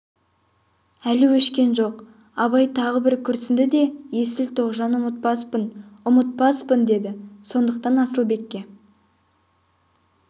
әлі өшкен жоқ абай тағы да бір күрсінді де есіл тоғжан ұмытпаспын ұмытпаспын деді сондықтан асылбекке